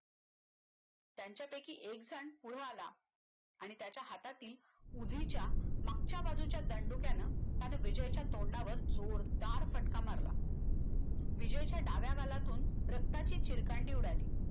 त्यांच्यापैकी एकजण पुढ आला आणि त्याच्या हातातील उजवीच्या मागच्या बाजूच्या दंडुक्यान त्यानं विजयच्या तोंडावर जोरदार फटका मारला विजयच्या डाव्या गालातून रक्ताची चिरकांडी उडाली